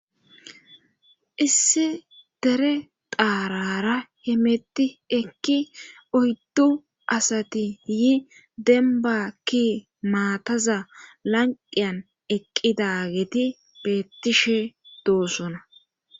issi dere xaarara hemetti ekki oyddu asati yi denbakki maataza lanqiyan eqqidageti beettishe doossona